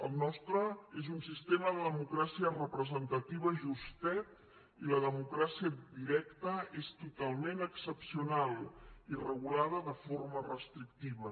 el nostre és un sistema de democràcia representativa justet i la democràcia directa és totalment excepcional i regulada de forma restrictiva